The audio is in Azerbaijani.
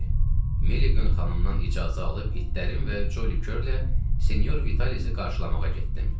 Meliqan xanımdan icazə alıb itlərin və Cəlli Körlə sinyor Vitalisi qarşılamağa getdim.